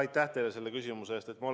Aitäh teile selle küsimuse eest!